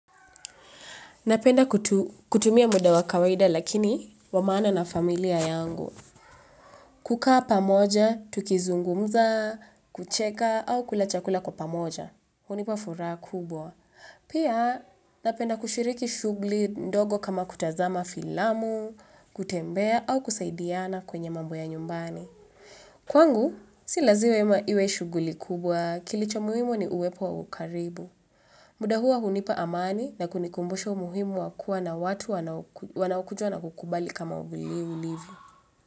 Napenda kutumia muda wa kawaida lakini wamaana na familia yangu. Kukaa pamoja, tukizungumza, kucheka au kula chakula kwa pamoja. Hunipa furaa kubwa. Pia napenda kushiriki shugli ndogo kama kutazama filamu, kutembea au kusaidiana kwenye mambo ya nyumbani. Kwangu, silazima iwe shuguli kubwa kilicho muhimu ni uwepo wa ukaribu. Muda hua hunipa amani na kunikumbusha umuhimu wa kuwa na watu wanaukujua na kukubali kama vile ulivyo.